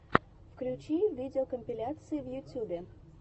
включи видеокомпиляции в ютюбе